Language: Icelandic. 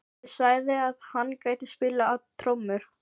Ég sagði að hann gæti spilað á trommur.